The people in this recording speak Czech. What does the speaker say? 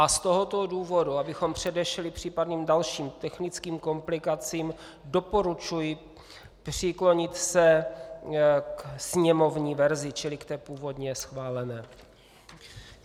A z tohoto důvodu, abychom předešli případným dalším technickým komplikacím, doporučuji přiklonit se ke sněmovní verzi, čili k té původně schválené.